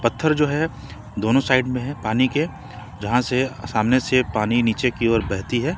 पत्थर जो है दोनो साइड में है पानी के जहां से सामने से पानी नीचे की ओर बहती है।